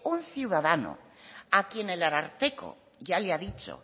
un ciudadano a quien el ararteko ya le ha dicho